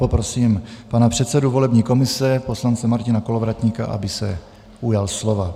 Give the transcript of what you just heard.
Poprosím pana předsedu volební komise, poslance Martina Kolovratníka, aby se ujal slova.